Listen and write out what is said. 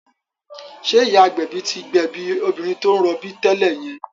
Ṣé ìyá agbẹ̀bí tí gbẹ̀bí obìnrin tó ń rọbí tẹ́lẹ̀ yẹn?